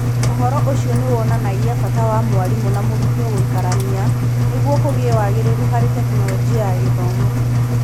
Ũhoro ũcio nĩ wonanagia bata wa mwarimũ na mũrutwo gũikarania nĩguo kũgĩe wagĩrĩru harĩ Tekinoronjĩ ya Gĩthomo.